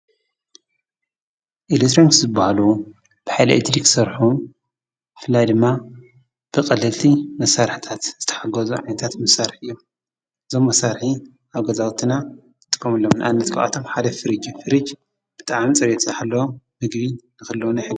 ኤሌክትሮኒክስ ዝበሃሉ ብሓይሊ ኤሌክትሪክ ዝሰርሑ ብፍላይ ድማ ብቀለልቲ መሳርሒታት ዝተሓገዙ ዓይነታት መሳርሒ እዮም፡፡ እዞም መሳርሒ አብ ገዛውትና ይጥቀሙሎም፡፡ ንአብነት፡- ካብአቶም ሓደ ፍርጅ እዩ፡፡ ፍርጅ ብጣዕሚ ፅሬቱ ዝሓለወ ምግቢ ንክህልዎ ይሕግዝ፡፡